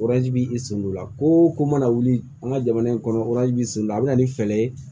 b'i sundola koo o ko mana wuli an ka jamana in kɔnɔ b'i so lila a be na ni fɛɛrɛ ye